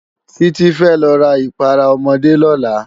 Titi fè lò rá ipàrá òmòdé lòlá